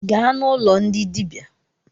Gaa n’ụlọ ndị dịbia